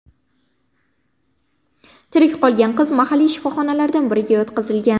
Tirik qolgan qiz mahalliy shifoxonalardan biriga yotqizilgan.